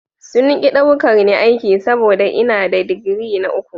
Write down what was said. Sun ki ɗaukar ni aiki saboda ina da digiri na uku.